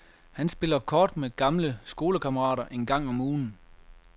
Han spiller kort med gamle skolekammerater en gang om ugen.